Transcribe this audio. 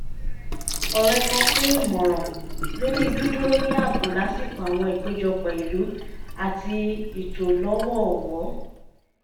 ọ̀rẹ́ kan pín ìmọ̀ràn lórí dídúró ní ààbò lásìkò àwọn ìpéjọpọ̀ ìlú àti ìtò lọ́wọ̀ọ̀wọ́